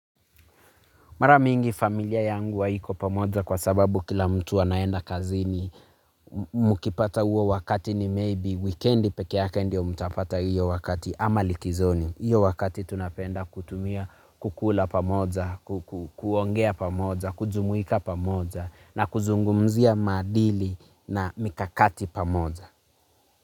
Mara mingi familia yangu haiko pamoja kwa sababu kila mtu anaenda kazini mkipata huo wakati ni maybe wikendi peke yake ndio mtapata hiyo wakati ama likizoni. Hiyo wakati tunapenda kutumia kukula pamoja, kuongea pamoja, kujumuika pamoja na kuzungumzia maadili na mikakati pamoja.